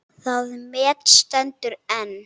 Það met stendur enn.